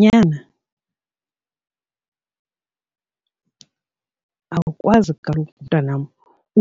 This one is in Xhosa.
Nyana, awukwazi kaloku mntanam